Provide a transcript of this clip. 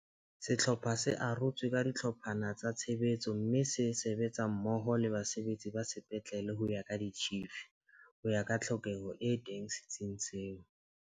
Sehlopha se arotswe ka dihlo pha tsa tshebetso mme se sebetsa mmoho le basebetsi ba sepetlele ho ya ka ditjhifi, ho ya ka tlhokeho e teng se tsing seo.